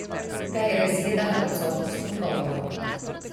Ga je razjedala odsotnost odgovorov?